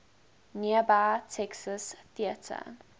nearby texas theater